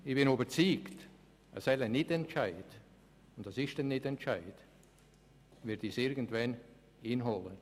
Ich bin überzeugt, ein solcher Nichtentscheid – und es ist ein Nichtentscheid – wird uns irgendwann einholen.